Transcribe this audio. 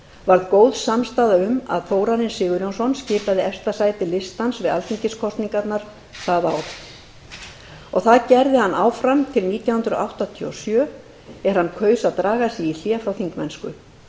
varð góð samstaða um að þórarinn sigurjónsson skipaði efsta sæti listans við alþingiskosningarnar það ár og það gerði hann fram til nítján hundruð áttatíu og sjö er hann kaus að draga sig í hlé frá þingmennsku